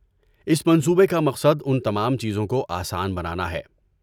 اس منصوبے کا مقصد ان تمام چیزوں کو آسان بنانا ہے۔